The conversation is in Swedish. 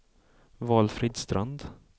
Valfrid Strand